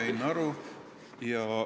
Sain aru.